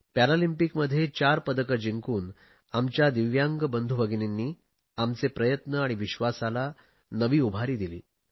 पॅरालिम्पिकमध्ये चार पदके जिंकून आमच्या दिव्यांग बंधू भगिनींनी आमचे प्रयत्न आणि विश्वासाला नवी उभारी दिली